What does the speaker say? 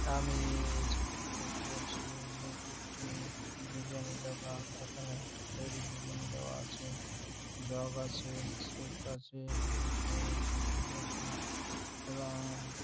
আমিই এই চিত্রটিতে দেখতে পাচ্ছি যে এটি একটি বিরিয়ানি -র দোকান | এখানে একটি প্লেট -এ বিরিয়ানি দেওয়া আছে জগ আছে সোফট আছে এবং চেয়ার আছে টেবিল আছে এবং--